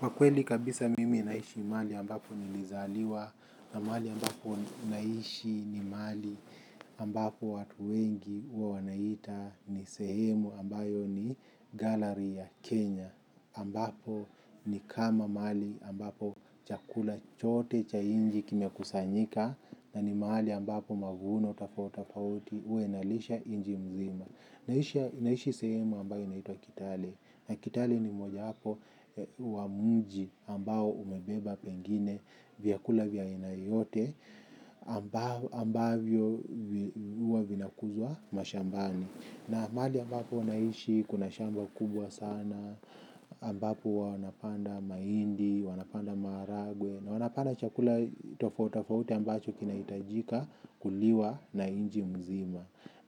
Kwa kweli kabisa mimi naishi mahali ambapo nilizaliwa na mahali ambapo mimi naishi ni mahali ambapo watu wengi huwa wanaita ni sehemu ambayo ni ghala ya Kenya ambapo ni kama mahali ambapo chakula chote cha nchi kimekusanyika na ni mahali ambapo mavuno tofautitofauti huwa inalisha nchi nzima. Naishi sehemu ambayo inaitwa Kitale. Na Kitale ni mojawapo wa mji ambao umebeba pengine vyakula vya aina yote ambavyo huwa vinakuzwa mashambani. Na mahali ambapo naishi kuna shamba kubwa sana, ambapo wanapanda mahindi, wanapanda maharagwe, wanapanda chakula tofautitofauti ambacho kinaitajika kuliwa na nchi nzima.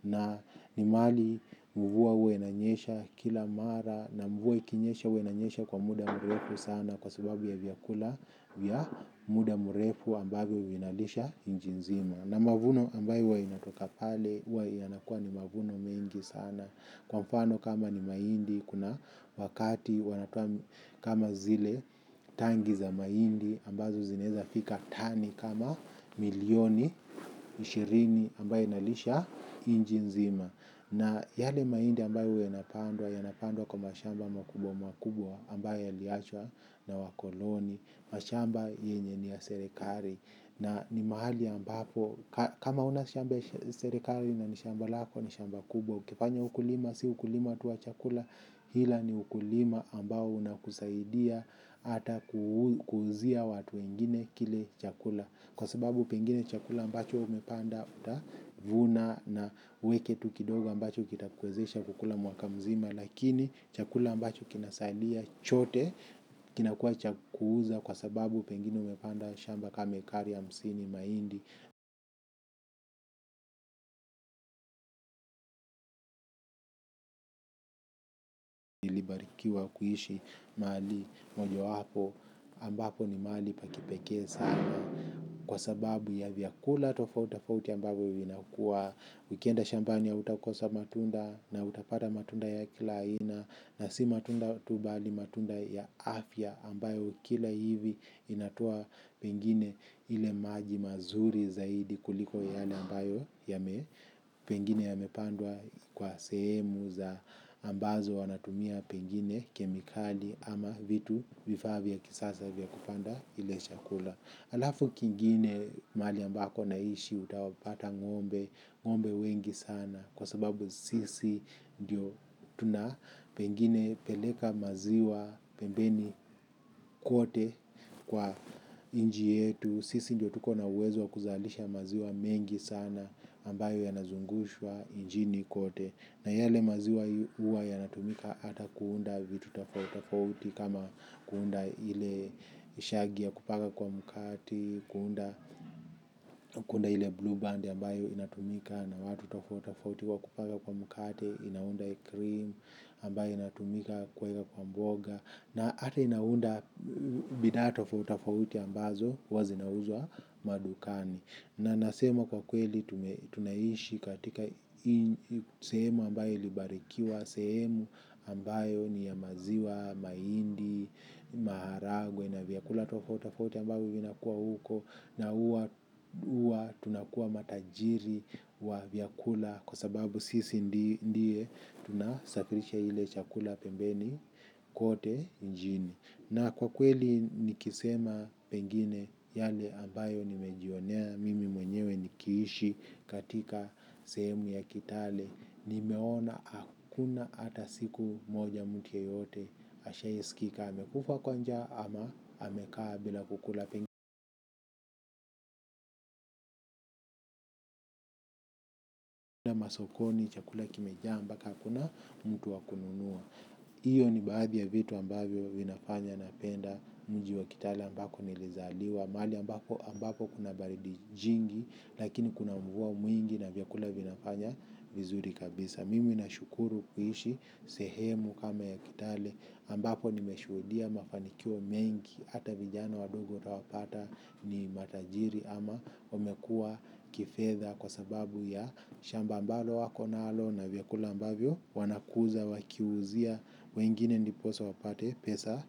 Na ni mahali mvua huwa inanyesha kila mara na mvua ikinyesha huwa inanyesha kwa muda mrefu sana kwa sababu ya chakula ya muda mrefu ambavyo vinalisha nchi nzima. Na mavuno ambayo huwa inatoka pale huwa yanakua ni mavuno mengi sana. Kwa mfano kama ni mahindi kuna wakati wanatoa kama zile tangi za mahindi ambazo zinaweza fika tani kama milioni ishirini ambayo inalisha nchi nzima. Na yale mahindi ambayo huwa yanapandwa, yanapandwa kwa mashamba mwakubwa mwakubwa ambayo yaliachwa na wakoloni, mashamba yenye ni ya serikali. Na ni mahali ambapo, kama huna shamba ya serekali na ni shamba lako ni shamba kubwa. Ukifanya ukulima, si ukulima tu wa chakula, ila ni ukulima ambao unakusaidia hata kuuzia watu wengine kile chakula. Kwa sababu pengine chakula ambacho umepanda utavuna na uweke tu kidogo ambacho kitakuwezesha kukula mwaka mzima. Lakini chakula ambacho kinasailia chote kinakua cha kuuza kwa sababu pengine umepanda shamba kama ekari hamsini mahindi ukiwa kuishi mali mojawapo ambapo ni mahali pa kipekee sana. Kwa sababu ya vyakula tofautafauti ambavyo vinakua. Ukienda shambani hautakosa matunda na utapata matunda ya kila aina na si matunda tu bali matunda ya afya ambayo ukila hivi inatoa pengine ile maji mazuri zaidi kuliko yale ambayo yame pengine yamepandwa kwa sehemu ambazo wanatumia pengine kemikali ama vitu vifaa vya kisasa vya kupanda kile chakula. Alafu kingine mahali ambako naishi utawapata ng'ombe, ng'ombe wengi sana kwa sababu sisi ndio tuna pengine peleka maziwa pembeni kwote kwa nchi yetu. Sisi ndio tuko na uwezo kuzalisha maziwa mengi sana ambayo yanazungushwa nchini kote. Na yale maziwa huwa yanatumika hata kuunda vitu tofautitofauti kama kuunda ile siagi ya kupaka kwa mkate, kuunda ile bluu bandi ambayo inatumika na watu tofauti tofauti kwa kupaka kwa mkate, inaunda krimu ambayo inatumika kuweka kwa mboga na hata inaunda bidhaa tofauti tofauti ambazo huwa zinauzwa madukani. Na nasema kwa kweli tunaishi katika sehemu ambayo ilibarikiwa, sehemu ambayo ni ya maziwa, mahindi, maharagwe na vyakula tofautitofauti ambayo vinakuwa huko. Na huwa tunakuwa matajiri wa vyakula kwa sababu sisi ndiye tunasafirisha ile chakula pembeni kote nchini. Na kwa kweli nikisema pengine yale ambayo nimejionea mimi mwenyewe nikiishi katika sehemu ya Kitale, nimeona hakuna ata siku moja mtu yeyote ashai sikika amekufa kwa njaa ama amekaa bila kukula pengine masokoni chakula kimeja mpaka hakuna mtu wa kununua. Hiyo ni baadhi ya vitu ambayo vinafanya napenda mji wa Kitale ambako nilizaliwa mahali ambapo kuna baridi jingi. Lakini kuna mvua mwingi na vyakula vinafanya vizuri kabisa. Mimi nashukuru kuishi sehemu kama ya Kitale ambapo nimeshuhudia mafanikio mengi. Hata vijana wadogo utawapata ni matajiri ama wamekuwa kifedha kwa sababu ya shamba ambalo wako nalo na vyakula ambavyo wanakuza wakiuzia wengine ndiposa wapate pesa.